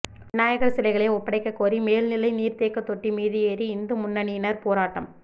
விநாயகா் சிலைகளை ஒப்படைக்கக்கோரி மேல்நிலை நீா்தேக்கத் தொட்டி மீது ஏறி இந்து முன்னணியினா் போராட்டம்